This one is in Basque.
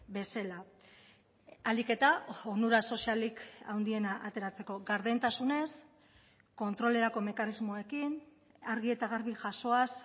bezala ahalik eta onura sozialik handiena ateratzeko gardentasunez kontrolerako mekanismoekin argi eta garbi jasoaz